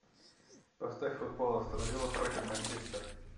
поставь футбол астон вилла против манчестер